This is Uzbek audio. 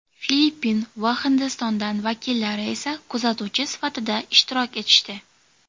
Filippin va Hindiston vakillari esa kuzatuvchi sifatida ishtirok etishdi.